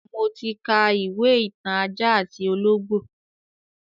Mo ti ka ìwé ìtàn ajá àti ológbò